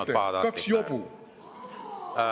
Mida te irvitate, kaks jobu?!